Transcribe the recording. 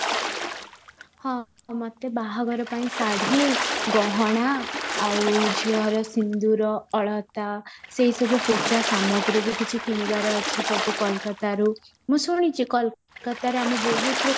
ହଁ ମୋତେ ବାହାଘର ପାଇଁ ଶାଢ଼ୀ ଗହଣା ଆଉ ଝିଅର ସିନ୍ଦୁର ଅଳତା ସେଇ ସବୁ ପୂଜା ସାମଗ୍ରୀ ବି କିଛି କିଣିବାର ଅଛି ସବୁ କୋଲକାତାରୁ ମୁଁ ଶୁଣିଛି କୋଲକାତାରେ ଆମେ ବହୁତ ରୁ